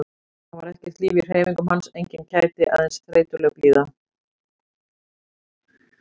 Það var ekkert líf í hreyfingum hans, engin kæti, aðeins þreytuleg blíða.